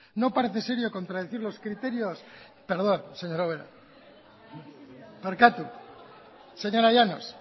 no parece serio contradecir los criterios perdón señora llanos